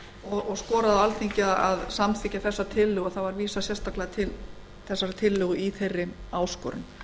og skoraði á alþingi að samþykkja þessa tillögu vísað var sérstaklega til þessarar tillögu í þeirri áskorun